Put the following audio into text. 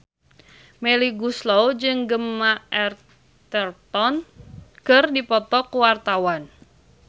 Melly Goeslaw jeung Gemma Arterton keur dipoto ku wartawan